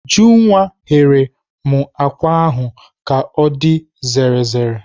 Ujunwa ghere m àkwá ahụ ka ọ dị zere zere.